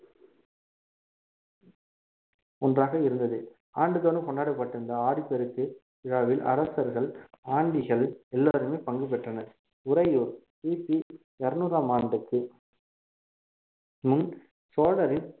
ஒன்றாக இருந்தது ஆண்டுதோறும் கொண்டாடப்பட்டிருந்த ஆடிப்பெருக்கு விழாவில் அரசர்கள் ஆண்டிகள் எல்லாருமே பங்கு பெற்றனர் உறையூர் கிபி இருநூறாம் ஆண்டுக்கு முன் சோழரின்